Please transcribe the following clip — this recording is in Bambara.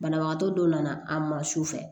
Banabagatɔ dɔw nana a man su fɛ